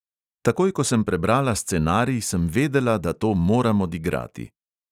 Takoj, ko sem prebrala scenarij, sem vedela, da to moram odigrati.